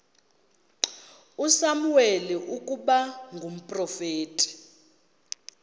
usamuweli ukuba ngumprofeti